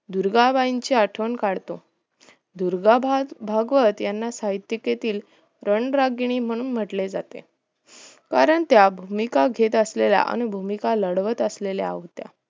दुर्गाबाईंची आठवण काढतो दुर्गा भागवत याना साहित्यकेंतील धनरागिणी म्हणून म्हंटले जाते कारण त्या भूमिका घेत असलेल्या आणि भूमिका लढवत असलेल्या होत्या